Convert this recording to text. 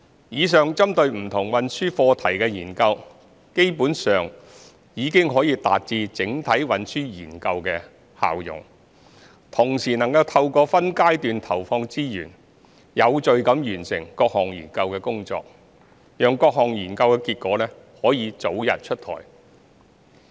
以上針對不同運輸課題的研究基本上已達至整體運輸研究的效用，同時能透過分階段投放資源，有序地完成各項研究工作，讓各項研究結果可早日出台。